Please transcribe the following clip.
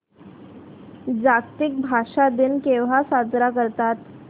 जागतिक भाषा दिन केव्हा साजरा करतात